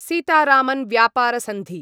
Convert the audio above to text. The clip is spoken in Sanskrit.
सीतारामन् व्यापारसन्धि